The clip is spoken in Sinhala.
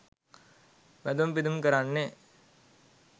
වැදුම් පිදීම් කරන්නේ